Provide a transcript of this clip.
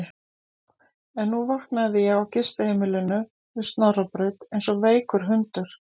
En nú vaknaði ég á gistiheimilinu við Snorrabraut eins og veikur hundur.